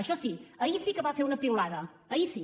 això sí ahir sí que va fer una piulada ahir sí